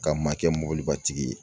Ka maa kɛ mɔbilibatigi ye